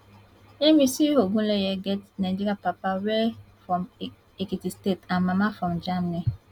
yemisi ogunleye get nigerian papa wey from ekiti state and mama from germany